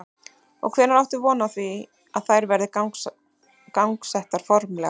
Og hvenær áttu von á því að þær verði gangsettar formlega?